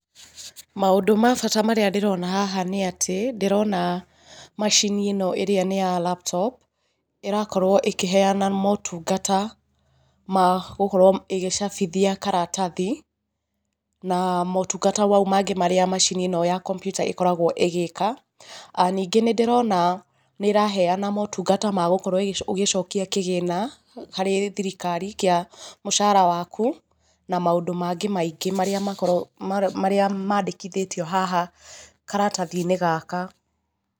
Maũndũ ma bata marĩa ndĩrona haha nĩ atĩ, ndĩrona macini ĩno ĩrĩa nĩ ya laptop, ĩrakorwo ĩkĩheana motungata ma gũkorwo ĩgĩcabithia karatathi, na motungata mau mangĩ marĩ macini ĩno ya kompyuta ĩkoragwo ĩgĩka. Ningĩ nĩ ndĩrona nĩ ĩraheana motungata ma gũkorwo ũgĩcokia kĩgĩna harĩ thirikari kĩa mũcara waku, na maũndũ mangĩ maingĩ marĩa mandĩkithĩtio haha karatathi-inĩ gaka.